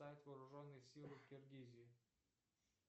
вооруженные силы в киргизии